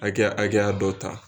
Hakɛya hakɛya dɔ ta.